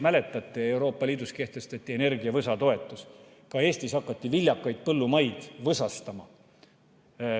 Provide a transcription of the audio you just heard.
Mäletate, Euroopa Liidus kehtestati energiavõsa toetus, ka Eestis hakati viljakaid põllumaid võsastama.